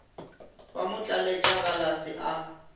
ba mo tlaletša galase a